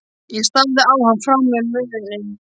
Ég starði á hann, frá mér numin.